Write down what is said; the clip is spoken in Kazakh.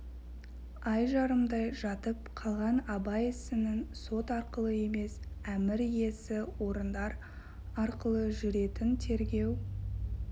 ай жарымдай жатып қалған абай ісінің сот арқылы емес әмір иесі орындар арқылы жүретін тергеу